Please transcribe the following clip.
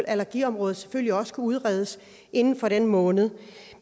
allergiområdet selvfølgelig også udredes inden for den måned